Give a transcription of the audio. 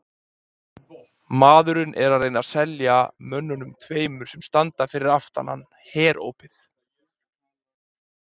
Maðurinn er að reyna að selja mönnunum tveimur sem standa fyrir aftan hann Herópið.